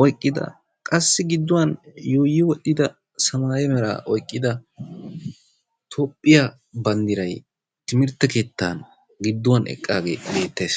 oyiqqida qassi gidduwan yuuyyi wol'ida samaaye meraa oyiqqida Toophphiya banddiray timirtte keettaa gidduwan eqqaagee beettes.